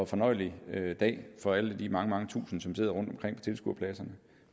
fornøjelig dag for alle de mange mange tusind som sidder rundt omkring på tilskuerpladserne